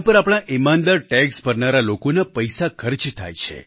આપણા ઈમાનદાર ટેક્સ ભરનારા લોકોના પૈસા ખર્ચ થાય છે